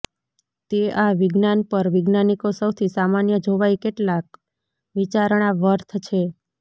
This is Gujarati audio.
તે આ વિજ્ઞાન પર વૈજ્ઞાનિકો સૌથી સામાન્ય જોવાઈ કેટલાક વિચારણા વર્થ છે